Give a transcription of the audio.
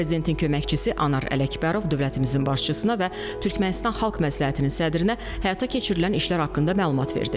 Prezidentin köməkçisi Anar Ələkbərov dövlətimizin başçısına və Türkmənistan Xalq məsləhətinin sədrinə həyata keçirilən işlər haqqında məlumat verdi.